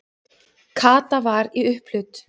Kata var í upphlut.